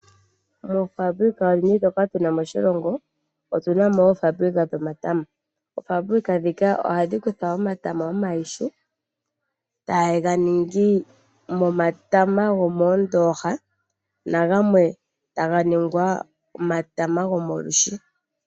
Moofaabulika ndhoka odhindji tuna moshilongo otu na mo oofaabulika dhomatama. Oofaabulika ndhika ohadhi kutha omatama omayihu etaya ga ningi momatama gomoondoha nangamwe taga ningwa omatama gomolwiishi.